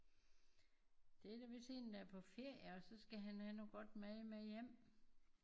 Det er da vist en der er på ferie og så skal han have noget godt mad med hjem